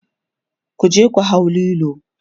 kuje ku hau Lilo!